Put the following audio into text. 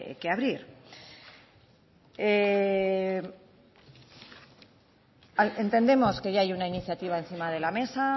que abrir entendemos que ya hay una iniciativa encima de la mesa